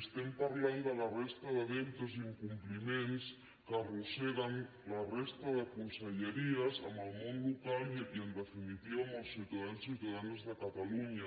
estem parlant de la resta de deutes i incompliments que arrosseguen la resta de conselleries amb el món local i en definitiva amb els ciutadans i ciutadanes de catalunya